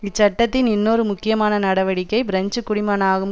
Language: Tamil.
இச்சட்டத்தின் இன்னொரு முக்கியமான நடவடிக்கை பிரெஞ்சு குடிமகனாகும்